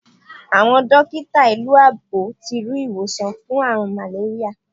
Awọn dotika ilu èbó ti ri iwosan fun aarun màléríyà